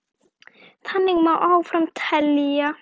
Þannig má áfram telja.